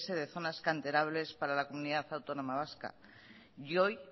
de zonas canterables para la comunidad autónoma vasca y hoy